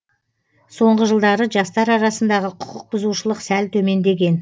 соңғы жылдары жастар арасындағы құқықбұзушылық сәл төмендеген